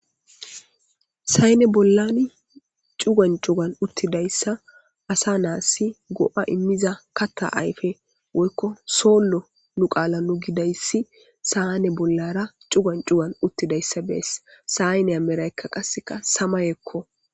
Sayine bollani cuguwan cuguwan uttida daysa asa nasi go'a immida kaththa ayfe woyiko solo nu qaanai nu giz issi sane bollara cuguwan cuguwan utida issa be'aysi.sayiniya merayika qassika samayeko.